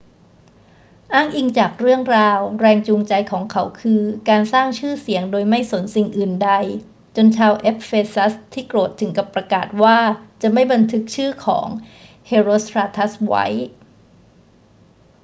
อ้างอิงจากเรื่องราว แรงจูงใจของเขาคือการสร้างชื่อเสียงโดยไม่สนสิ่งอื่นใด จนชาวเอเฟซัสที่โกรธถึงกับประกาศว่าจะไม่บันทึกชื่อของเฮโรสตราทัสไว้